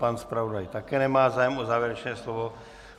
Pan zpravodaj také nemá zájem o závěrečné slovo.